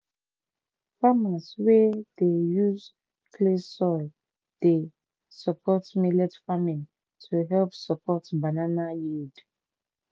farmers wey dey use clay soil dey support millet farming to help support banana yield."